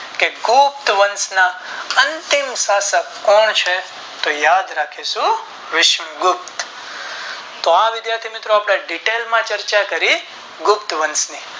કે ગુપ્ત વંશ ના અંતિમ શાસન કોણ છે તો યાદ રાખીશું વીસનું ગૃપ્ત તો આ વિધાથી મિત્રો આપણે Detail માં ચર્ચાકરી ગુપ્ત વંશ ની